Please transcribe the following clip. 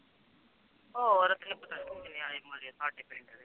ਹੋਰ